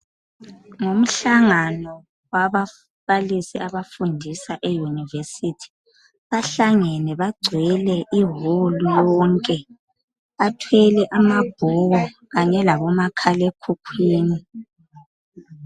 Ngumhlangano wababalisi abafundisa eUniversity. Bahlangene bagcwele iwolu yonke, bethwele amabhuku kanye labomakhalekhukhwini